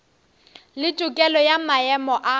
le tokelo ya maemo a